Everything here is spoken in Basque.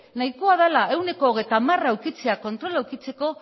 nahikoa dela ehuneko hogeita hamara edukitzea kontrola edukitzeko